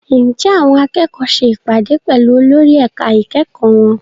Ǹjẹ́ àwọn akẹ́kọ̀ọ́ ṣe ìpàdé pẹ̀lú olórí ẹ̀ka ìkẹ́kọ̀ọ́ wọn?